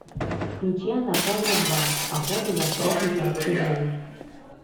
включи анаконда два охота за проклятой орхидеей